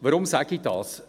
Warum sage ich dies?